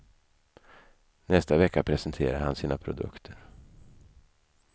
Nästa vecka presenterar han sina produkter.